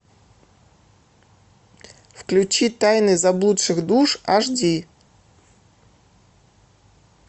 включи тайны заблудших душ аш ди